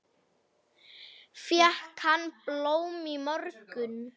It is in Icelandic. Fékk hann blóm í morgun?